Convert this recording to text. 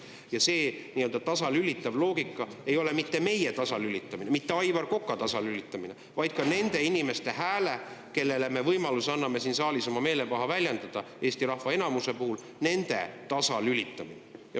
Ja nii-öelda tasalülitamise loogika puhul ei ole see mitte meie tasalülitamine, mitte Aivar Koka tasalülitamine, vaid Eesti rahva enamuse, nende inimeste hääle tasalülitamine, kellele me anname siin saalis võimaluse oma meelepaha väljendada.